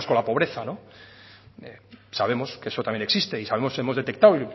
relacionados con la pobreza sabemos que eso también existe y sabemos hemos detectado